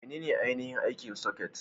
Menene ainihin aikin soket?